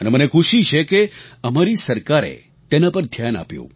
અને મને ખુશી છે કે અમારી સરકારે તેના પર ધ્યાન આપ્યું